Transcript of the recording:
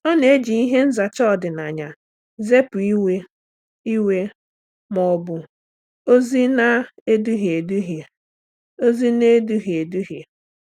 Ọ́ nà-ejì ihe nzacha ọ́dị́nàya zèpụ́ iwe iwe ma ọ́ bụ ózị́ nà-èdúhíé édúhíé. ózị́ nà-èdúhíé édúhíé.